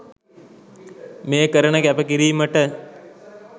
මේ කරන කැප කිරීමට.